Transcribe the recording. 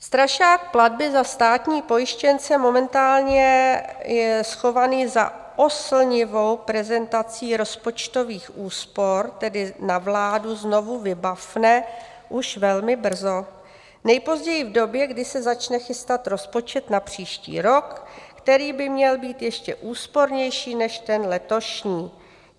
Strašák platby za státní pojištěnce momentálně je schovaný za oslnivou prezentací rozpočtových úspor, tedy na vládu znovu vybafne už velmi brzo, nejpozději v době, kdy se začne chystat rozpočet na příští rok, který by měl být ještě úspornější než ten letošní.